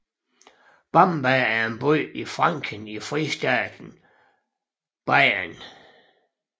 Bamberg er en by i Franken i fristaten Bayern